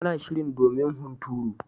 Tana shirin domin hunturu.